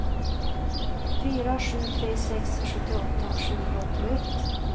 fyra sju tre sex sjuttioåtta sjuhundraåttioett